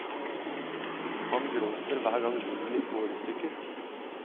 Han gråter hver gang livet mitt går i stykker.